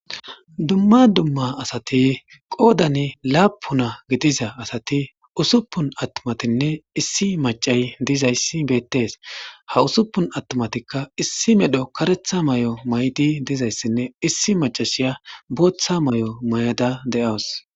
Dumma dumma asati qoodan laappuna gidiza asati usuppun attumatinne issi maccay dizayssi beettees. Ha usuppun attumatikka issi medho kareetha mayo mayidi dizayssinne issi maccashiya bootha mayo mayada de7awus